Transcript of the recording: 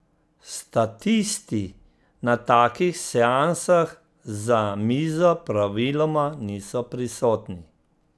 Statisti na takih seansah za mizo praviloma niso prisotni.